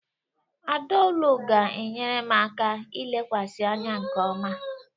Adaoolu ga-enyere m aka ilekwasị anya nke ọma.